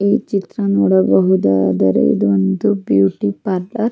ಈ ಚಿತ್ರವನ್ನು ನೋಡುವುದಾದರೆ ಇದೊಂದು ಬ್ಯೂಟಿ ಫರ್ಲೊರ್ --